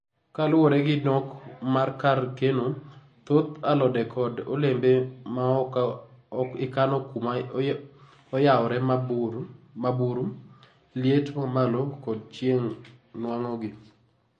ka luore gi nok mar kar keno, thoth alodekod olembe ma oka ikano kuma oyawre ma buru, liet ma malo kod chieng nwango gi